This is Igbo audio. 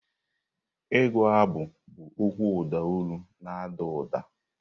Ịgụ abụ bụ okwu ụda olu na-ada ụda.